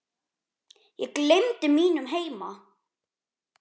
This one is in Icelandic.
Ég gleymdi mínum heima